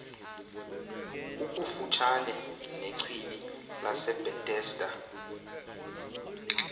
ukufutshane nechibi lasebhetesda